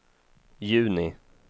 juni